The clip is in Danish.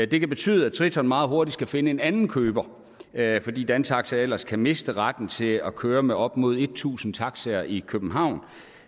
det kan betyde at triton meget hurtigt skal finde en anden køber fordi dantaxi ellers kan miste retten til at køre med op mod tusind taxaer i københavn